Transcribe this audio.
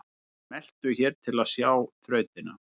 Smelltu hér til að sjá þrautina